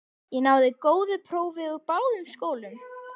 Ég náði góðu prófi úr báðum skólum.